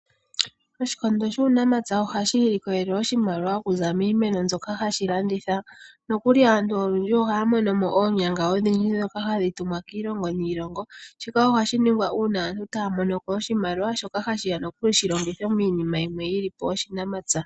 Oshikondo shuunamapya ohashi ilokolele oshimaliwa okuza miimeno ndjoka hashi landitha, nokuli aantu olundji ohaa mono mo oonyanga odhindji dhoka hadhi tumwa kiilongo niilongo shika ohashi ningwa uuna aantu taamonoko oshimaliwa shoka hashiya shilongithwe miinima yi li po yoshinamatsa.